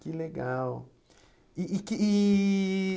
Que legal. E e que e